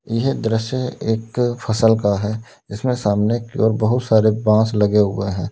यह दृश्य एक फसल का है जिसमें सामने की ओर बहुत सारे बांस लगे हुए हैं।